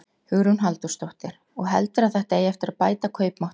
Hugrún Halldórsdóttir: Og heldurðu að þetta eigi eftir að bæta kaupmáttinn?